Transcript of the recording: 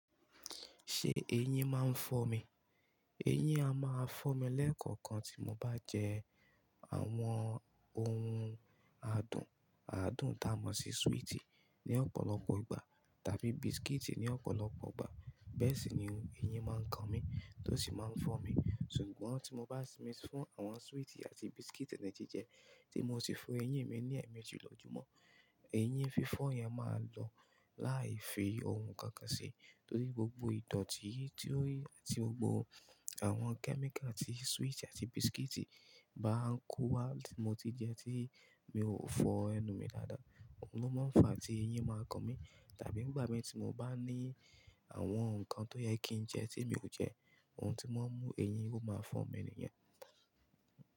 Ṣé eyín máa ń fọ́ mi? Eyín a máa fọ́ mi lẹ́ẹ̀kọ̀kan tí mo bá jẹ àwọn ohun àdùn, àdùn tá a mọ̀ sí sweetie ní ọ̀pọ̀lọpọ̀ ìgbà tàbí biscuit ní ọ̀pọ̀lọpọ̀ ìgbà. Bẹ́ẹ̀ sì ni eyín máa ń kan mi tó sì máa ń fọ́ mi. Sugbọn tí mo bá sinmi fún àwọn sweetie àti biscuit ni jijẹ, tí mo sì fo eyín mi ní ẹ̀míji lọjùmọ́, eyín fí fọ́ yẹn máa lọ láì fi ohun kankan ṣi. Torí gbogbo ìdọ̀ọ̀tí tí ó àti gbogbo àwọn kẹ́míkà tí sweetie àti biscuit bá ń kó wá tí mo ti jẹ tí mi ò fọ ẹnu mi dáadáa, òun ló máa ń fa tí eyín máa kan mi. Tàbí nígbà mẹ́ta tí mo bá ní àwọn nǹkan tó yẹ kí n jẹ tí mi ò jẹ, ohun tí wọn mú eyín kó máa fọ́ mi nìyẹn.